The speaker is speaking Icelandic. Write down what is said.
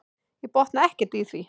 Ég botna ekki í því.